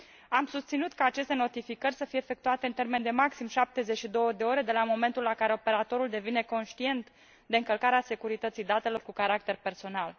Am susținut ca aceste notificări să fie efectuate în termen de maxim 72 de ore de la momentul la care operatorul devine conștient de încălcarea securității datelor cu caracter personal.